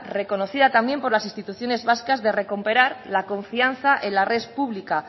reconocida también por las instituciones vascas de recuperar la confianza en la red pública